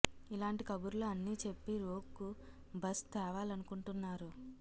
ఇలాంటి కబుర్లు అన్నీ చెప్పి రోగ్ కు బజ్ తేవాలనుకుంటున్నారు